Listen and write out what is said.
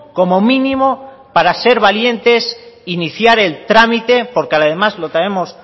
como mínimo para ser valientes iniciar el trámite porque además lo traemos